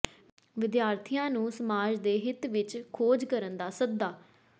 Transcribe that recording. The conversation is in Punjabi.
ਵਿਦਿਆਰਥੀਆਂ ਨੂੰ ਸਮਾਜ ਦੇ ਹਿੱਤ ਵਿੱਚ ਖੋਜ ਕਰਨ ਦਾ ਸੱਦਾ